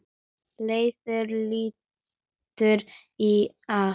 Leifur lætur í haf